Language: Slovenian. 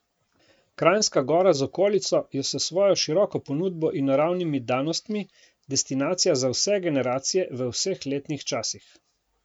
Kranjska Gora z okolico je s svojo široko ponudbo in naravnimi danostmi destinacija za vse generacije v vseh letnih časih.